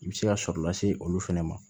I bɛ se ka sɔrɔ lase olu fana ma